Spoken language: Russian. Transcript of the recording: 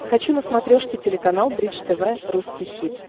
хочу на смотрешке телеканал бридж тв русский хит